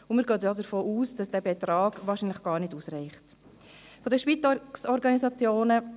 Wir gehen davon aus, dass dieser Betrag wahrscheinlich gar nicht ausreichen wird.